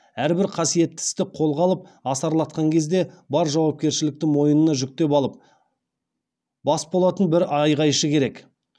әрбір қасиетті істі қолға алып асарлатқан кезде бар жауапкершілікті мойнына жүктеп алып бас болатын бір айғайшы керек